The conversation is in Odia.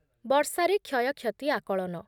ବର୍ଷା ରେ କ୍ଷୟକ୍ଷତି ଆକଳନ